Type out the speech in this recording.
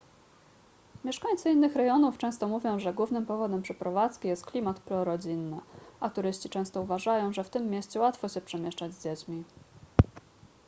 mieszkańcy innych rejonów często mówią że głównym powodem przeprowadzki jest klimat prorodzinny a turyści często uważają że w tym mieście łatwo się przemieszczać z dziećmi